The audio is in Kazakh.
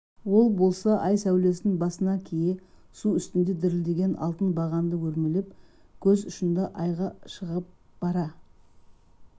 ал болса ай сәулесін басына кие су үстінде дірілдеген алтын бағанды өрмелеп көз ұшында айға шығып бара